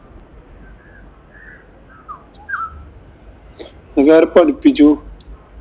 ഇതാര് പഠിപ്പിച്ചു?